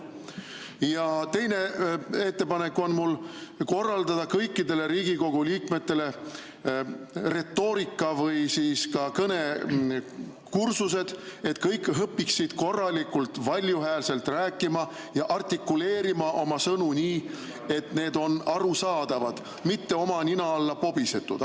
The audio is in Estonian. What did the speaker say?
Ja teine ettepanek on mul korraldada kõikidele Riigikogu liikmetele retoorika- või siis kõnekursused, et kõik õpiksid korralikult valju häälega rääkima ja artikuleerima oma sõnu nii, et need on arusaadavad, mitte oma nina alla pobisetud.